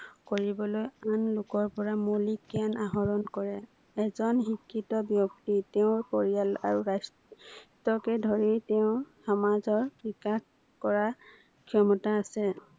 কৰিবলৈ আন লোকৰ পৰা মৌলিক জ্ঞান আহৰন কৰে। এজন শিক্ষিত ব্যক্তি তেওঁৰ পৰিয়াল আৰু আহ ৰাষ্ট্ৰকে ধৰি তেওঁৰ সমাজৰ বিকাশ কৰাৰ, ক্ষমতা আছে।